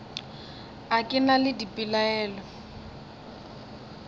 a ke na le dipelaelo